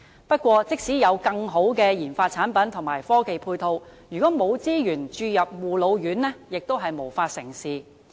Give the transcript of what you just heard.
不過，即使有更好的研發產品和科技配套，如果沒有資源注入護老院，亦無法成事。